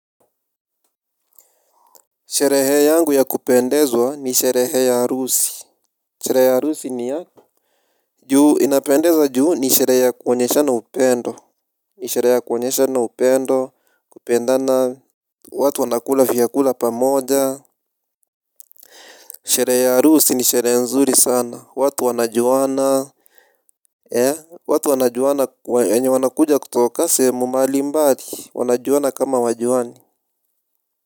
Sherehe yangu ya kupendezwa ni sherehe ya arusi. Sherehe ya arusi inapendeza juu ni sherehe ya kuonyeshana upendo. Nisherehe ya kuonyeshana upendo. Kupendana watu wanakula vyakula pa moja. Sherehe ya arusi ni sherehe nzuri sana watu wanajuana. Eh watu wanajuana wenye wanakuja kutoka sehemu mbali mbali wanajuana kama hawajuani.